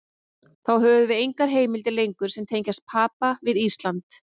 Þá höfum við engar heimildir lengur sem tengja Papa við Ísland.